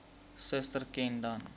suster ken dan